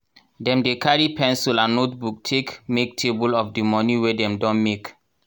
dem dey carry pencil and notebook take make table of di moni wey dem don make.